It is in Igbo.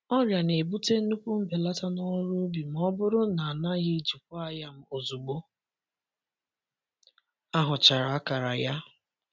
Ọrịa na-ebute nnukwu mbelata n’ọrụ ubi ma ọ bụrụ na a naghị jikwaa ya ozugbo a hụchara akara ya.